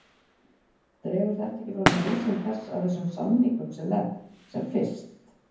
Dregur þetta ekki fram nauðsyn þess að þessum samningum sé lent sem fyrst?